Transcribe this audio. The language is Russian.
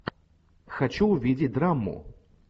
хочу увидеть драму